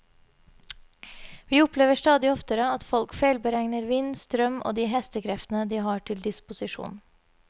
Vi opplever stadig oftere at folk feilberegner vind, strøm og de hestekreftene de har til disposisjon.